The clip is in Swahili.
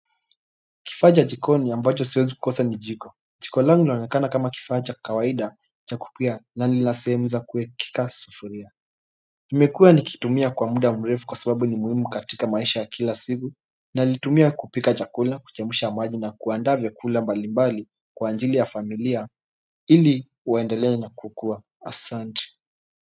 Kifaa cha jikoni ambacho siwezi kosa ni jiko. Jiko langu linaonekana kama kifaa cha kawaida cha kupikia na lina sehemu za kuekeka sufuria. Nimekuwa nikitumia kwa muda mrefu kwa sababu ni muhimu katika maisha ya kila siku na nilitumia kupika chakula, kuchemsha maji na kuandaa vyakula mbalimbali kwa ajili ya familia ili waendelee na kukuwa asante.